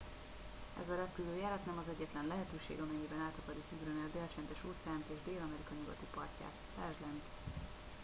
ez a repülőjárat nem az egyetlen lehetőség amennyiben át akarjuk ugrani a dél-csendes-óceánt és dél-amerika nyugati partját. lásd lent